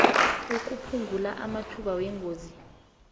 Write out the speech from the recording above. ukuphungula amathuba wengozi